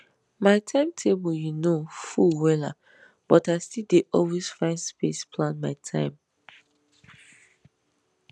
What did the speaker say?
my time table you know full wella but i still dey always find space plan my time